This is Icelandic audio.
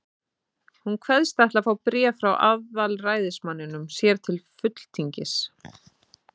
Hún kveðst ætla að fá bréf frá aðalræðismanninum sér til fulltingis.